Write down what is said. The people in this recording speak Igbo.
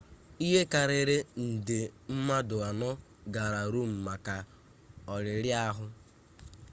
ihe karịrị nde mmadụ anọ gara rom maka olili ahụ